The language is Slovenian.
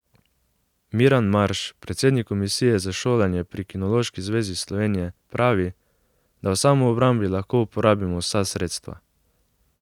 Miran Marš, predsednik komisije za šolanje pri Kinološki zvezi Slovenije, pravi, da v samoobrambi lahko uporabimo vsa sredstva.